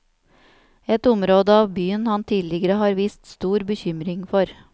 Et område av byen han tidligere har vist stor bekymring for.